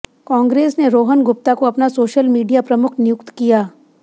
कांग्रेस ने रोहन गुप्ता को अपना सोशल मीडिया प्रमुख नियुक्त किया